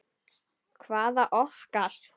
Hvaða okkar?